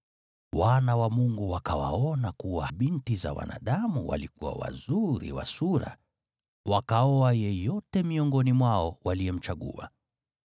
wana wa Mungu wakawaona kuwa hao binti za wanadamu walikuwa wazuri wa sura, wakaoa yeyote miongoni mwao waliyemchagua.